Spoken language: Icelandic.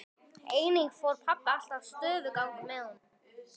Einnig fór pabbi alltaf stofugang með honum.